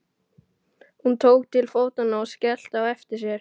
Hún tók til fótanna og skellti á eftir sér.